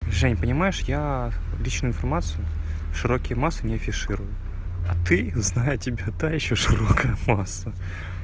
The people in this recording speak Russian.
жень понимаешь я личную информацию в широкие массы не афиширую ты зная тебя та ещё широкая масса